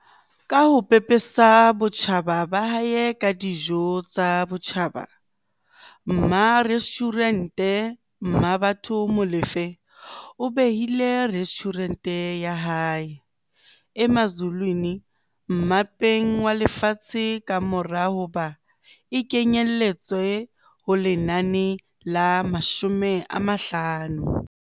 Ka ho pepesa botjhaba ba hae ka dijo tsa botjhaba, mmarestjhurente Mmabatho Molefe o behile restjhurente ya hae, Emazulwini, mmapeng walefatshe kamora hoba e kenyeletswe ho lenane la50